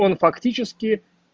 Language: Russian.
он фактически